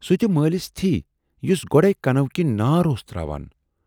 سُہ تہِ مٲلِس تھِی، یُس گۅڈٕے کَنو کِنۍ نار اوس تراوان۔